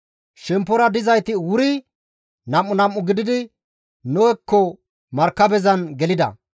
Shemppora paxa dizayti wuri nam7u nam7u gididi Nohekko markabezan gelida;